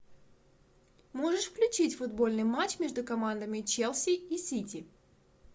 можешь включить футбольный матч между командами челси и сити